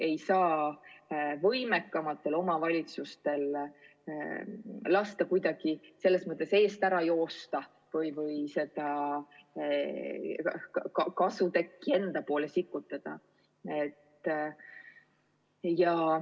Ei saa võimekamatel omavalitsustel lasta kuidagi selles mõttes eest ära joosta või kasutekki enda poole sikutada.